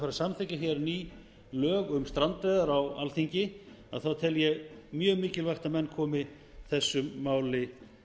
að samþykkja hér ný lög um strandveiðar á alþingi þá tel ég mjög mikilvægt að menn komi þessum máli